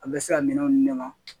A bɛ se ka minɛnw di ne ma